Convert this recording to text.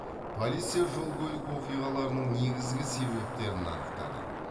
полиция жол көлік оқиғаларының негізгі себептерін анықтады